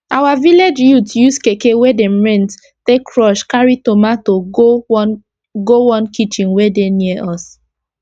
our village youth use keke wey dem rent take rush carry tomato go one go one kitchen wey dey near us